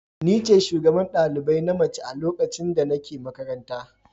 Ni ce shugaban ɗalibai na mace a lokacin da nake makaranta.